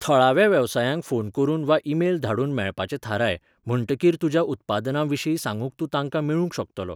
थळाव्या वेवसायांक फोन करून वा ईमेल धाडून मेळपाचें थाराय, म्हणटकीर तुज्या उत्पादनांविशीं सांगूंक तूं तांकां मेळूंक शकतलो.